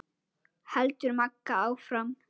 heldur Magga áfram.